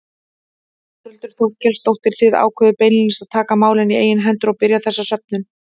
Þórhildur Þorkelsdóttir: Þið ákváðuð beinlínis að taka málin í eigin hendur og byrja þessa söfnun?